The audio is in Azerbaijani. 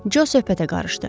Jo söhbətə qarışdı.